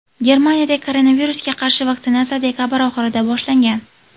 Germanida koronavirusga qarshi vaksinatsiya dekabr oxirida boshlangan.